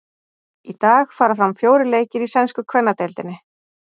Í dag fara fram fjórir leikir í sænsku kvennadeildinni.